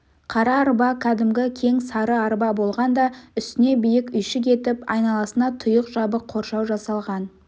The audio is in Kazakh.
қара арба кәдімгі кең сары арба болған да үстіне биік үйшік етіп айналасына тұйық жабық қоршау жасалған